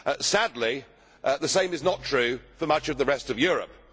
Sadly, the same is not true for much of the rest of Europe.